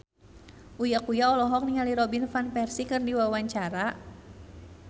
Uya Kuya olohok ningali Robin Van Persie keur diwawancara